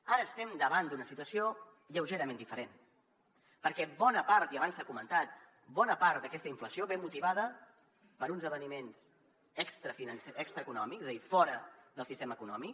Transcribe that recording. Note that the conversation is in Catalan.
ara estem davant d’una situació lleugerament diferent perquè i abans s’ha comentat bona part d’aquesta inflació ve motivada per uns esdeveniments extrae conòmics és a dir fora del sistema econòmic